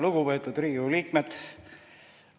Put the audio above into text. Lugupeetud Riigikogu liikmed!